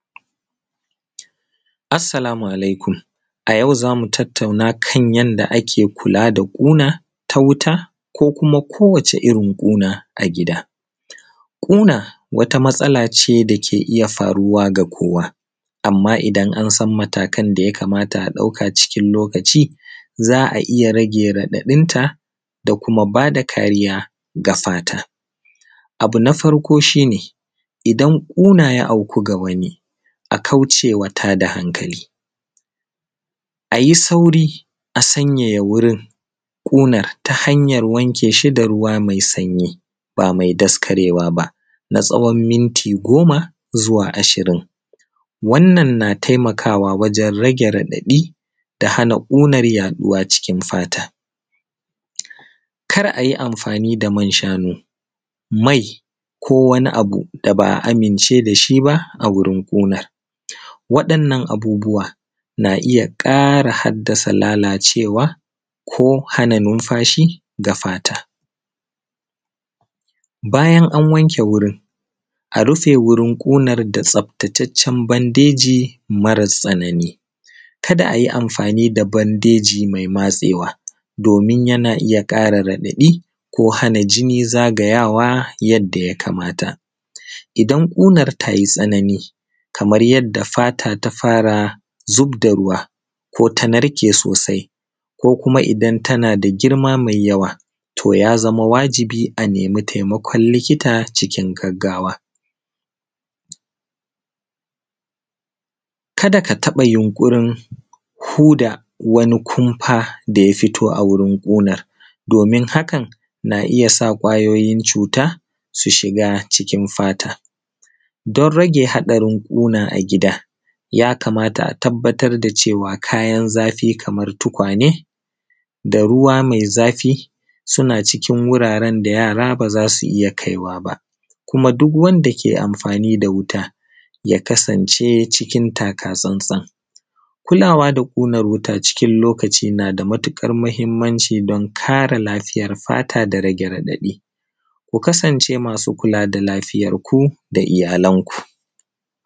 Assalamu alaikum, a yau za mu tattauna kan yadda ake kulaa da ƙunaa ta wuta ko kuma kowace irin ƙuna a gida. Ƙuna wata matsalaace da ke iya faruwa ga kowa, amma idan an san matakan da yakamata a ɗauka cikin lokaci za a iya rage raɗaɗinta da kuma baa da kariya ga fata. Abu na farko shi ne idan ƙuna ya auku ga wani a kauce wa tada hankali, a yi sauri a sanyaya wurin ƙunar ta hanyar wanke shi da ruwa mai sanyi baa mai daskarewa ba na tsawon minti goma zuwa ashirin. Wannan na taimakawa wajen rage raɗaɗi da hana ƙunar yaɗuwa cikin fata, kar a yi amfaani da man shanu mai ko wani abu da ba a amince da shi ba a wurin ƙuna. Waɗannan abubuwa na iya ƙara haddasa lalaacewa ko hana numfashi ga fata. bayan an wanke wurin a rufe wurin ƙunar da tsaftataccen bandeji mara tsana:ni ka da a yi amfa:ni da bandeji mai matseewa doomin yana iya ƙara raɗaɗi ko hana jini zagayawa yadda yakamata. Idan ƙunar ta yi tsanani kamar yadda fata ta fara zubda ruwa ko ta narke soosai ko kuma idan tana da girma mai yawa to ya zama wajibi a nemi taimakon likita cikin gaggawa, Ka da ka taɓa yunƙurin huda wani kumfa da ya fito a wurin ƙunar, doomin hakan na iya sa ƙwayooyin cuuta su shiga cikin fata don rage haɗarin ƙuna a gida yakamata a tabbatar da cewa kayan zafi kamar tukwaane da ruwa mai zafi suna cikin wuraaren da yaara ba za su iya kaiwaa ba. Kuma duk wanda ke amfaani da wuta ya kasance cikin taka tsan-tsan, kulaawa da ƙunar wuta cikin lokaci na da matuƙar mahimmanci, don kare lafiyar fata da rage raɗaɗi. Ku kasance masu kulaa da lafiyarku da iyalanku.